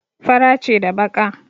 Fara ce da baƙa.